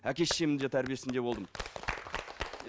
әке шешемнің де тәрбиесінде болдым